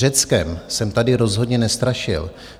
Řeckem jsem tady rozhodně nestrašil.